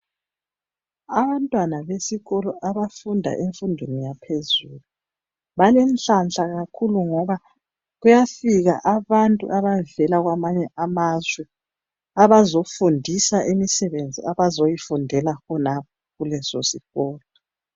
Abantwana besikolo abafunda emfundweni yaphezulu balenhlahla kakhulu ngoba kuyafika abantu abavela kwamanye amazwe abazofundisa imisebenzi abazoyifundela khonapha kuleso sikolo.